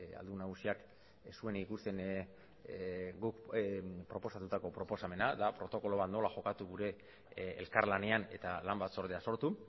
aldun nagusiak ez zuen ikusten guk proposatutako proposamena da protokoloa nola jokatu gure elkarlanean eta lan batzordea sortu